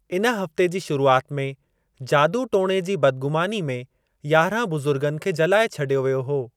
इन हफ़्ते जी शुरुआत में, जादू टोणे जी बदगु़मानी में यारहं बुजु़र्गनि खे जलाए छडि॒यो वियो हो।